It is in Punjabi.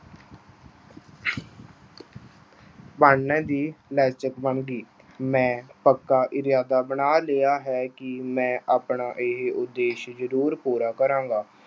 ਪੜ੍ਹਨ ਦੀ ਮੰਗੀ। ਮੈਂ ਪੱਕਾ ਇਰਾਦਾ ਬਣਾ ਲਿਆ ਹੈ ਕਿ ਮੈਂ ਆਪਣਾ ਇਹ ਉਦੇਸ਼ ਜ਼ਰੂਰ ਪੂਰਾ ਕਰਾਂਗਾ।